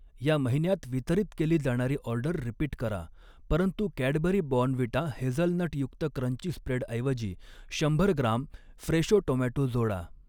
ह्या महिन्यात वितरित केली जाणारी ऑर्डर रिपीट करा परंतु कॅडबरी बॉर्नव्हिटा हेझलनटयुक्त क्रंची स्प्रेडऐवजी शंभर ग्राम फ्रेशो टोमॅटो जोडा.